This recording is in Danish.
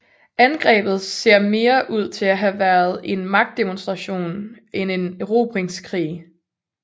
Angrebet ser mere ud til at have været en magtdemonstration end en erobringskrig